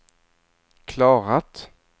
klarat